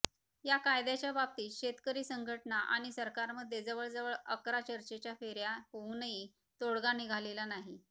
या कायद्याच्या बाबतीत शेतकरी संघटना आणि सरकारमध्ये जवळजवळ अकरा चर्चेच्या फेऱ्या होऊनही तोडगा निघालेला नाही